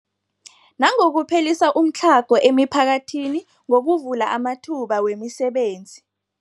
Nangokuphelisa umtlhago emiphakathini ngokuvula amathuba wemisebenzi.